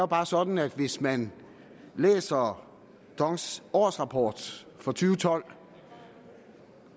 bare sådan at hvis man læser dongs årsrapport fra to tusind og tolv